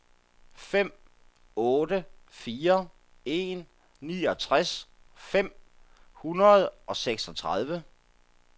fem otte fire en niogtres fem hundrede og seksogtredive